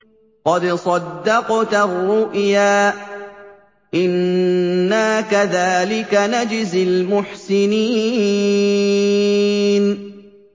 قَدْ صَدَّقْتَ الرُّؤْيَا ۚ إِنَّا كَذَٰلِكَ نَجْزِي الْمُحْسِنِينَ